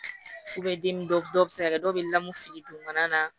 den dɔw bi se ka kɛ dɔw be lamun fili dugumana na